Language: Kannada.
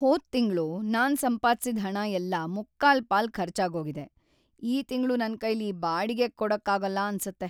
ಹೋದ್ ತಿಂಗ್ಳು ನಾನ್‌ ಸಂಪಾದ್ಸಿದ್‌ ಹಣ ಎಲ್ಲ ಮುಕ್ಕಾಲ್ಪಾಲ್ ಖರ್ಚಾಗೋಗಿದೆ, ಈ ತಿಂಗ್ಳು ನನ್ಕೈಲಿ ಬಾಡಿಗೆ ಕೊಡಕ್ಕಾಗಲ್ಲ ಅನ್ಸತ್ತೆ.